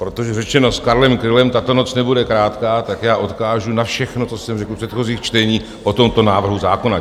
Protože, řečeno s Karlem Krylem, tato noc nebude krátká, tak já odkážu na všechno, co jsem řekl v předchozích čteních o tomto návrhu zákona.